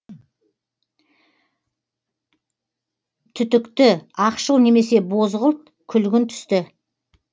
түтікті ақшыл немесе бозғылт күлгін түсті